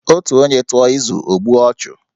Otu onye tụọ izu, o gbuo ọchụ